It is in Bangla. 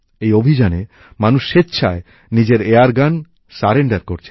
এই অভিযানে মানুষ স্বেচ্ছায় নিজের এয়ারগান সারেন্ডার করছেন